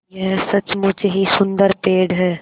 यह सचमुच ही सुन्दर पेड़ है